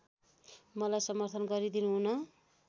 मलाई समर्थन गरिदिनुहुन